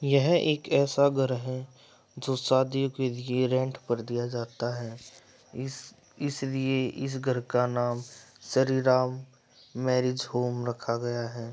यह एक ऐसा घर है जो शादीयों के लिए रेंट पर दिया जाता है। इस इसलिए इस घर का नाम श्री राम मेरिज होम रखा गया है।